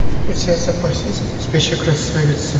у тебя в запасе есть спящая красавица